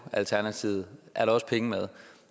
alternativet er der også penge med